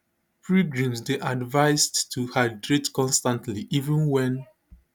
pilgrims dey advised to hydrate constantly even wen